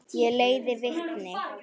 Ég leiði vitni.